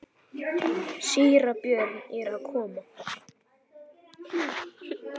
Síra Björn er að koma!